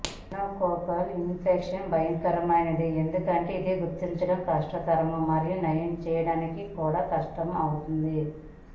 meningococcal infection భయంకరమైనది ఎందుకంటే ఇది గుర్తించటం కష్టతరం మరియు నయం చేయడానికి కూడా కష్టతరం అవుతుంది